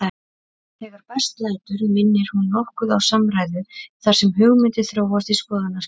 Þegar best lætur minnir hún nokkuð á samræðu þar sem hugmyndir þróast í skoðanaskiptum.